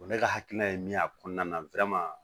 Ne ka hakilina ye min y'a kɔnɔna